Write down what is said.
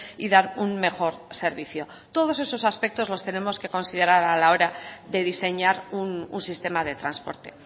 y dar un mejor servicio todos esos aspectos los tenemos que considerar a la hora de diseñar un sistema de transporte